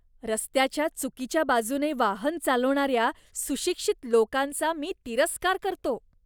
रस्त्याच्या चुकीच्या बाजूने वाहन चालवणाऱ्या सुशिक्षित लोकांचा मी तिरस्कार करतो.